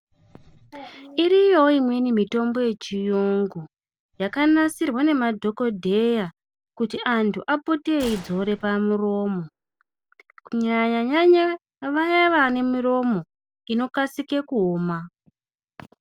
Iriyowo imweni mitombo ye chiyungu yaka nasirwa ne madhokodheya kuti antu apote eyi dzore pa muromo kunyanya nyanya vaya vane miromo ino kasike kuoma.